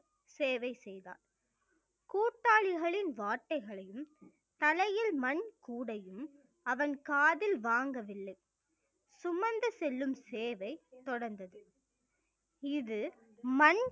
சேவை செய்தார் கூட்டாளிகளின் வார்த்தைகளையும் தலையில் மண் கூடையும் அவன் காதில் வாங்கவில்லை சுமந்து செல்லும் சேவை தொடர்ந்தது இது மண்